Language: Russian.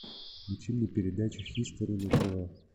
включи мне передачу хистори на тв